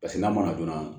Paseke n'a mɔna joona